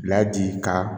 Bila ji ka